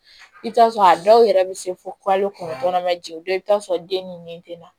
I bɛ t'a sɔrɔ a dɔw yɛrɛ bɛ se fo kalo kɔnɔntɔn ma jeni dɔw bɛ taa sɔrɔ den ni nin tɛ na